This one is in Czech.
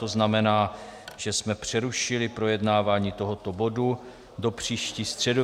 To znamená, že jsme přerušili projednávání tohoto bodu do příští středy.